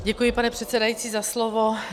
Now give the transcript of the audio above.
Děkuji, pane předsedající, za slovo.